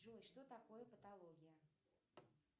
джой что такое патология